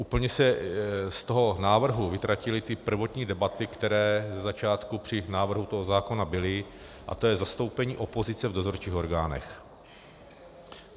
Úplně se z toho návrhu vytratily ty první debaty, které ze začátku při návrhu toho zákona byly, a to je zastoupení opozice v dozorčích orgánech.